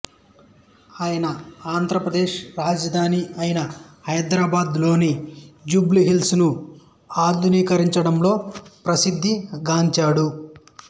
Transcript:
ఆయన ఆంధ్రప్రదేశ్ రాజధాని అయిన హైదరాబాదు లోని జూబ్లీ హిల్స్ ను ఆధునీకరించడంలో ప్రసిద్ధి గాంచాడు